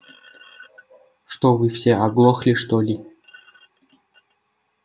что вы все оглохли что-ли